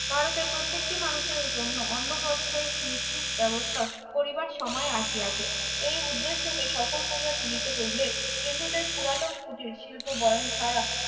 ভারতের প্রত্যেকটি মানুষের জন্য অন্য প্রস্থের নিশ্চিত ব্যবস্থা করিবার সময় আসিয়াছে এই উদ্দেশ্যকে সফল করিয়া তুলিতে হইলে হিন্দুদের পুরাতন কুটির শিল্প বয়ন ছাড়া